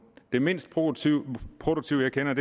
det mindst produktive produktive jeg kender